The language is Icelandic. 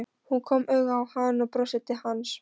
Hún kom auga á hann og brosti til hans.